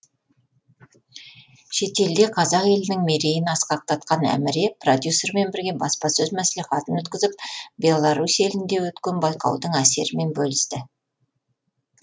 шетелде қазақ елінің мерейін асқақтатқан әміре продюсерімен бірге баспасөз мәслихатын өткізіп беларусь елінде өткен байқаудың әсерімен бөлісті